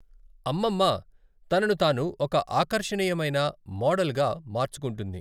అమ్మమ్మ తనను తాను ఒక ఆకర్షణీయమైన మోడల్గా మార్చుకుంటుంది.